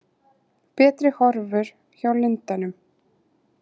Betri horfur hjá lundanum